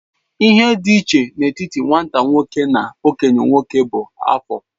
Ihe dị iche n'etiti nwata nwoke na okenye nwoke bụ afọ.